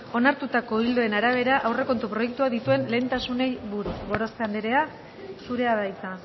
onartutako ildoen arabera aurrekontu proiektuak dituen lehentasunei buruz gorospe andrea zurea da hitza